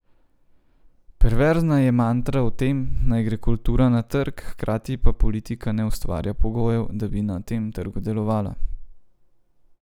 Perverzna je mantra o tem, naj gre kultura na trg, hkrati pa politika ne ustvarja pogojev, da bi na tem trgu delovala.